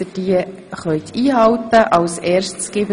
Bitte halten Sie diese ein.